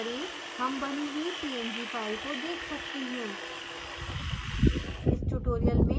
ls type करें हम बनी हुई png फाइल को देख सकते हैं